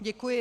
Děkuji.